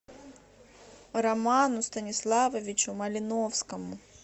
роману станиславовичу малиновскому